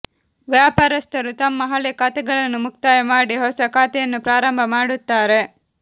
ವ್ಯಾಪಾರಸ್ಥರು ತಮ್ಮ ಹಳೆ ಖಾತೆಗಳನ್ನು ಮುಕ್ತಾಯ ಮಾಡಿ ಹೊಸ ಖಾತೆಯನ್ನು ಪ್ರಾರಂಭ ಮಾಡುತ್ತಾರೆ